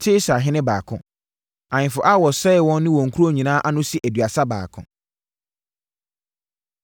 Tirsahene 2 baako 1 2 Ahemfo a wɔsɛee wɔn ne wɔn nkuro nyinaa ano si aduasa baako.